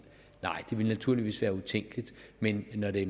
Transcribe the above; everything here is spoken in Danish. ville naturligvis være utænkeligt men når det